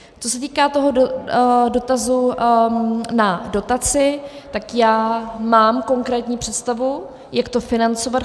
Co se týká toho dotazu na dotaci, tak já mám konkrétní představu, jak to financovat.